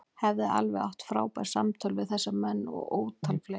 Ég hef átt alveg frábær samtöl við þessa menn og ótal fleiri.